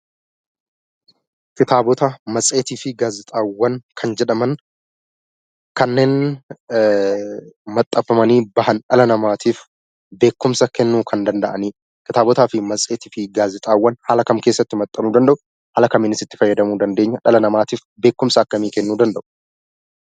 Kitaabota, matseetii fi gaazexaawwan kan jedhaman kanneen maxxanfamanii ba'an, dhala namaatiif beekumsa kannuu kan danda'anii dha. Kitaabota, matseetii fi gaazexaawwan haala kam keessatti maxxanfamuu danda'u, haala kamiin itti fayyadamamuun danda'ama, dhala namaatiif beekumsa akkamii kennuu danda'u?